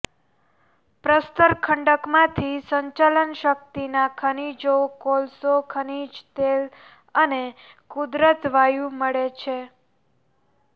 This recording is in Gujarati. પ્રસ્તર ખડકમાંથી સંચાલન શક્તિના ખનીજો કોલસો ખનીક તેલ અને કુદરત્ વાયુ મળે છે